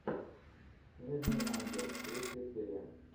снежный ангел третья серия